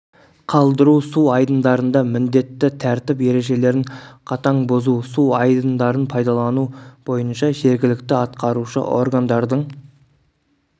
қалдыру су айдындарында міндетті тәртіп ережелерін қатаң бұзу су айдындарын пайдалану бойыша жергілікті атқарушы органдардың